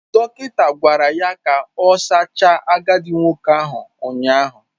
Dọkịta gwara ya ka ọ sachaa agadi nwoke ahụ ụnyaahụ.